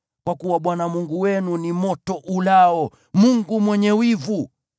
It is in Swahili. Kwa kuwa Bwana Mungu wenu ni moto ulao, Mungu mwenye wivu.